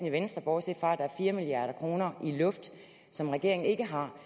i venstre bortset fra at der er fire milliard kroner i luft som regeringen ikke har